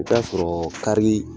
O t'a sɔrɔ kari